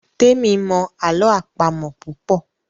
Temi mọ àlọ́ àpamọ̀ púpọ.